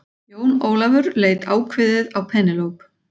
Jón Ólafur leit ákveðið á Penélope.